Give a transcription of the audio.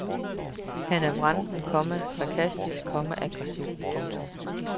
Han er vranten, komma sarkastisk, komma aggressiv. punktum